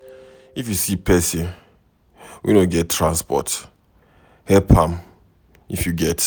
If you see person wey no get transport, help am if you get